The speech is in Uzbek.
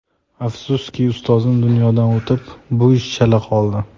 Afsuski, ustozim dunyodan o‘tib, bu ish chala qoldi.